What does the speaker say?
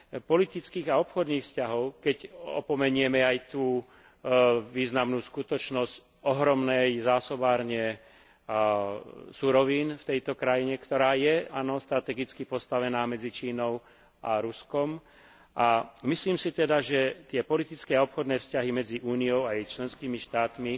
politických a obchodných vzťahov, keď opomenieme aj tú významnú skutočnosť ohromnej zásobárne surovín v tejto krajine, ktorá je strategicky postavená medzi Čínou a Ruskom, a myslím si teda, že tie politické a obchodné vzťahy medzi Úniou a jej členskými štátmi